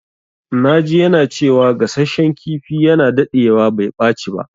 Na ji yana cewa gasashen kifi yana dadewa bai ɓaci ba.